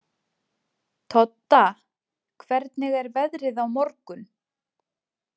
Todda, hvernig er veðrið á morgun?